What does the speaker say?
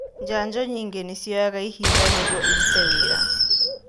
Njanjo nyingĩ nĩ cioyaga ihinda nĩguo irute wĩra.